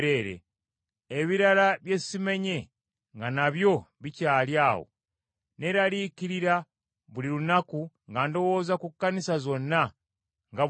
Ebirala bye simenye nga nabyo bikyali awo, neeraliikirira buli lunaku nga ndowooza ku Kkanisa zonna nga bwe ziri.